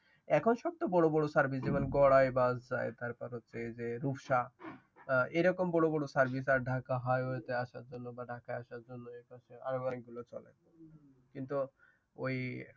এখন সব তো বড় বর সার্ভিস যেমন গরায় বাস যায় তারপর হচ্ছে যে তুরষা এরকম বড়বড় সার্ভিস ঢাকা হাইওয়েতে আসার জন্য বা ঢাকা আসার জন্য এইগুলো চলে কিন্তু ওই